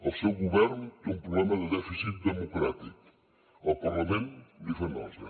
el seu govern té un problema de dèficit democràtic el parlament li fa nosa